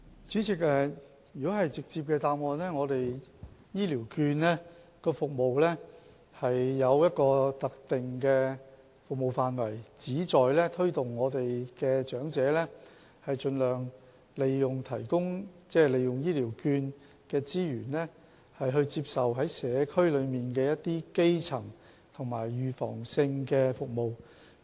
主席，直接的答覆就是，醫療券有一個特定的服務範圍，旨在推動長者盡量利用醫療券的資源，在社區接受基層及預防性的醫療服務。